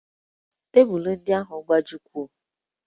Tebụlụ ndị ahụ a gbajiwo?